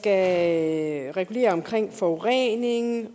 at regulere forureningen